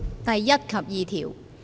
第1及2條。